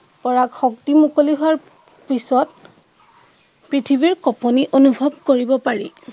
কৰাক শক্তি মুকলি হোৱাৰ পিছত পৃথিৱীৰ কঁপনি অনুভৱ কৰিব পাৰি